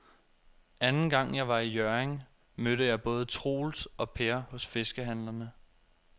Anden gang jeg var i Hjørring, mødte jeg både Troels og Per hos fiskehandlerne.